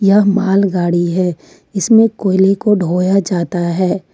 यह माल गाड़ी है इसमें कोयले को ढोया जाता है।